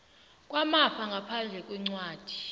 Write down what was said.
kwamafa ngaphandle kwencwadi